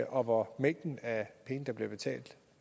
og hvor mængden af penge der bliver betalt